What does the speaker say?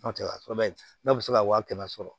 N'o tɛ n'a bɛ se ka wa kɛmɛ sɔrɔ